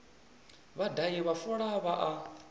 vhadahi vha fola vha a